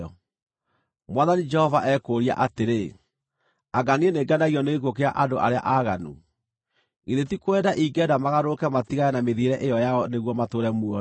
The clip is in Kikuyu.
Mwathani Jehova ekũũria atĩrĩ: Anga niĩ nĩngenagio nĩ gĩkuũ kĩa andũ arĩa aaganu? Githĩ ti kwenda ingĩenda magarũrũke matigane na mĩthiĩre ĩyo yao nĩguo matũũre muoyo?